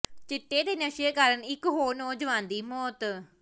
ਚਿੱਟੇ ਦੇ ਨਸ਼ੇ ਕਾਰਨ ਇਕ ਹੋਰ ਨੌਜਵਾਨ ਦੀ ਮੌਤ